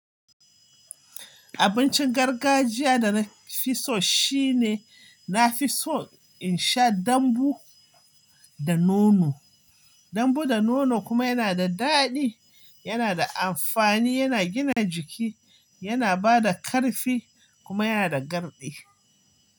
Abincin gargajiya da na fi so shine na fi so in sha dambu da nono. Dambu da nono kuma yana da daɗi, yana da amfani, yana gina jiki, yana bada ƙarfi kuma yana da garɗi.